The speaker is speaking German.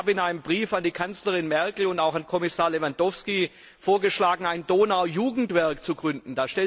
Ich habe in einem Brief an die Kanzlerin Merkel und auch an Kommissar Lewandowski vorgeschlagen, ein Donau Jugendwerk zu gründen.